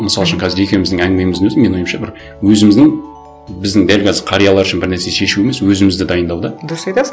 мысал үшін қазір екеуіміздің әңгімеміздің өзі менің ойымша бір өзіміздің біздің дәл қазір қариялар үшін бір нәрсе шешу емес өзімізді дайындау да дұрыс айтасың